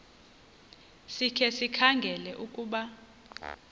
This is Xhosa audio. sikhe sikhangele ukuba